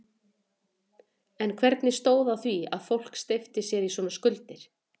En hvernig stóð á því að fólk steypti sér í svona skuldir?